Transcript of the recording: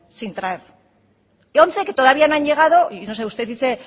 sin traer y once que todavía no han llegado y no sé usted dice